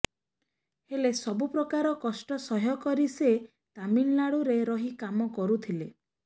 ହେଲେ ସବୁ ପ୍ରକାର କଷ୍ଟ ସହ୍ୟକରି ସେ ତାମିଲନାଡୁରେ ରହିକାମ କରୁଥିଲେ